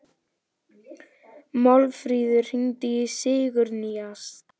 Málfríður, hringdu í Sigurnýjas.